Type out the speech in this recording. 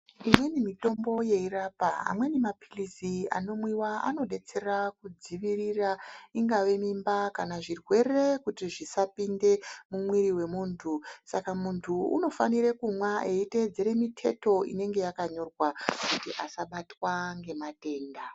Imweni mitombo yeirapa, amweni maphilizi anomwiwa anodetsera kudzivirira ingava mimba kana zvirwere kuti zvisapinda mumwiri mwemuntu saka muntu unofanirwe kuteedzera mithetho inenge yakonyorwa kuti asabatwa ngematenda.